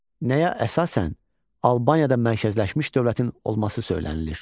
Nəyə əsasən Albaniyada mərkəzləşmiş dövlətin olması söylənilir?